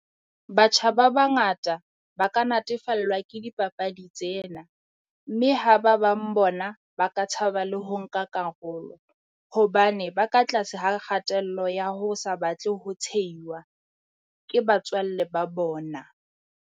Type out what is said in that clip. Batjha ba bangata ba ka natefellwa ke dipapadi tsena. Mme ha ba bang bona ba ka tshaba le ho nka karolo, hobane ba ka tlase ha kgatello ya ho sa batle ho tshehiwa ke batswalle ba bona.